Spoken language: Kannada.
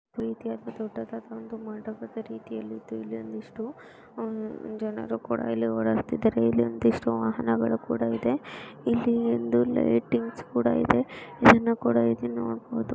ರೀತಿಯಾದ ದೊಡ್ಡದಾದ ಒಂದು ಮಾಡದ ರೀತಿಯಲ್ಲಿದ್ದು ಇಲ್ಲಿ ಒಂದಿಷ್ಟು ಅಮ್ ಜನರು ಕೂಡ ಓಡಾಡ್ತಿದಾರೇ ಇಲ್ಲಿ ಒಂದಿಷ್ಟು ವಾಹನಗಳು ಇದೆ ಇಲ್ಲಿ ಒಂದು ಲೈಟಿಂಗ್ಸ್ ಕೂಡ ಇದೆ ಇದನ್ನ ಕೂಡ ಇಲ್ಲಿ ನೋಡಬಹುದು.